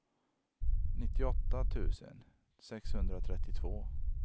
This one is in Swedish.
nittioåtta tusen sexhundratrettiotvå